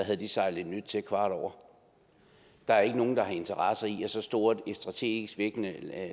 sejle et nyt ind kvart over der er ikke nogen der har interesse i at et så stort strategisk vigtigt